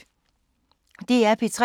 DR P3